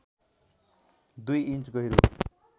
दुई इन्च गहिरो